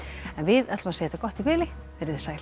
en við segjum þetta gott í bili veriði sæl